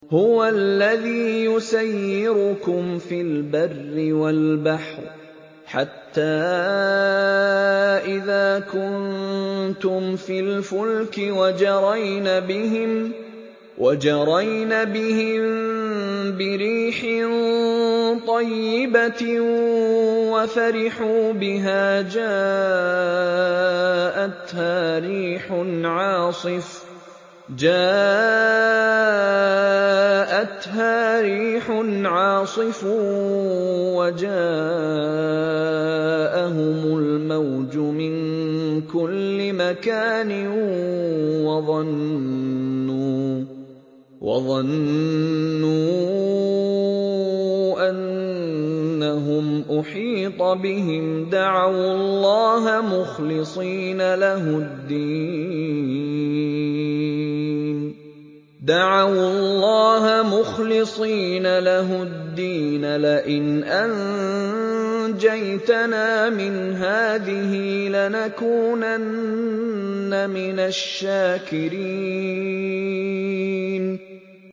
هُوَ الَّذِي يُسَيِّرُكُمْ فِي الْبَرِّ وَالْبَحْرِ ۖ حَتَّىٰ إِذَا كُنتُمْ فِي الْفُلْكِ وَجَرَيْنَ بِهِم بِرِيحٍ طَيِّبَةٍ وَفَرِحُوا بِهَا جَاءَتْهَا رِيحٌ عَاصِفٌ وَجَاءَهُمُ الْمَوْجُ مِن كُلِّ مَكَانٍ وَظَنُّوا أَنَّهُمْ أُحِيطَ بِهِمْ ۙ دَعَوُا اللَّهَ مُخْلِصِينَ لَهُ الدِّينَ لَئِنْ أَنجَيْتَنَا مِنْ هَٰذِهِ لَنَكُونَنَّ مِنَ الشَّاكِرِينَ